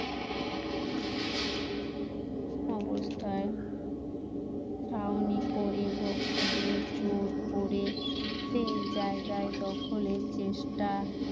অবস্থা ছাউনি করে ভক্তদের জোর করে সেই জায়গায় দখলের চেষ্টা